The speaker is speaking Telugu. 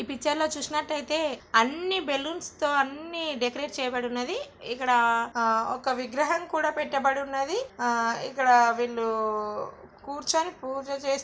ఈ పిక్చర్ లో చూసినట్లయితే అన్ని బెలూన్స్తో అన్ని డెకరేట్ చేయబడి ఉన్నది. ఇక్కడ ఆ ఒక విగ్రహం కూడా పెట్టబడి ఉన్నది. ఆ ఇక్కడ వీళ్లు కూర్చొని పూజ చేస్తూ --